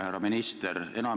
Härra minister!